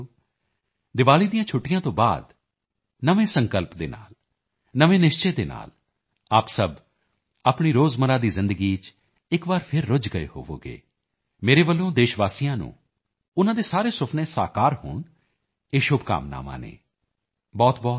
ਮੇਰੇ ਪਿਆਰੇ ਦੇਸ਼ ਵਾਸੀਓ ਦੀਵਾਲੀ ਦੀਆਂ ਛੁੱਟੀਆਂ ਤੋਂ ਬਾਅਦ ਨਵੇਂ ਸੰਕਲਪ ਦੇ ਨਾਲ ਨਵੇਂ ਨਿਸ਼ਚੇ ਦੇ ਨਾਲ ਆਪ ਸਭ ਆਪਣੀ ਰੋਜ਼ਮਰਾ ਦੀ ਜ਼ਿੰਦਗੀ ਚ ਇੱਕ ਵਾਰ ਫਿਰ ਰੁੱਝ ਗਏ ਹੋਵੋਗੇ ਮੇਰੇ ਵੱਲੋਂ ਦੇਸ਼ ਵਾਸੀਆਂ ਨੂੰ ਉਨ੍ਹਾਂ ਦੇ ਸਾਰੇ ਸੁਪਨੇ ਸਾਕਾਰ ਹੋਣ ਇਹ ਸ਼ੁਭਕਾਮਨਾਵਾਂ ਨੇ